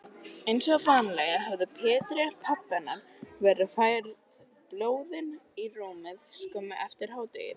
Einsog vanalega höfðu Pétri, pabba hennar, verið færð blöðin í rúmið skömmu eftir hádegið.